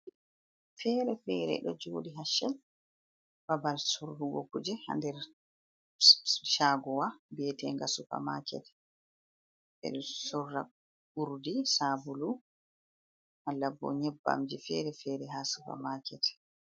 Fere fere ɗo joɗi haccel babal surrugo kuje ha nder chagowa vietenga supermaket ɓeɗo surra urdi sabulu wala bo nyebbamje fere fere ha supermaket.